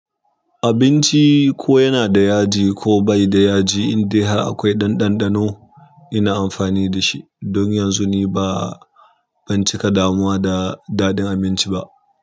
Abinci ko yana da yaji ko bai da yaji, in dai har akwai ɗan ɗanɗano ina amfani da shi. Don yanzu ni ba zan cika damuwa da da ɗin abinci ba.